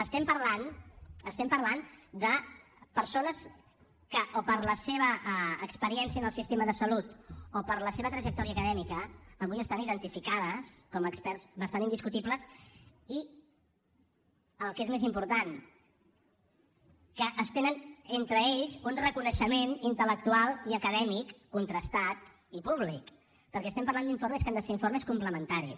estem parlant estem parlant de persones que o per la seva experiència en el sistema de salut o per la seva trajectòria acadèmica avui estan identificades com experts bastant indiscutibles i el que és més important que es tenen entre ells un reconeixement intel·lectual i acadèmic contrastat i públic perquè estem parlant d’informes que han de ser informes complementaris